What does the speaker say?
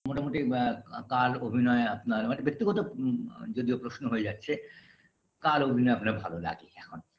মোটামুটি ব্যা ক কার অভিনয় আপনার মানে ব্যাক্তিগত উম আ যদিও প্রশ্ন হয়ে যাচ্ছে কার অভিনয় আপনার ভালো লাগে এখন